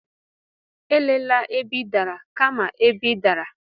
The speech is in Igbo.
Elela ebe ị dara, kama ebe ị dara.